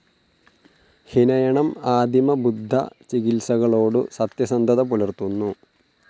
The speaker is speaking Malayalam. ഹിനയണം ആദിമബുദ്ധചികിത്സകളോടു സത്യസന്ധത പുലർത്തുന്നു.